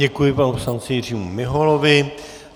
Děkuji, panu poslanci Jiřímu Miholovi.